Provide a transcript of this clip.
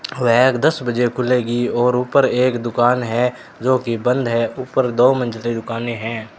वह दस बजे खुलेगी और ऊपर एक दुकान है जो कि बंद है ऊपर दो मंजिले दुकानें है।